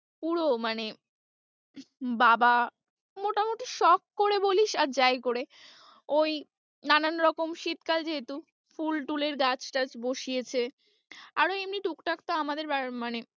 পুরো মানে বাবা মোটামুটি সখ করে বলিস আর যাই করে, ওই নানানরকম শীতকাল যেহেতু ফুল টুল এর গাছ টাছ বসিয়েছে, আরও এমনি টুকটাক তো আমাদের মানে।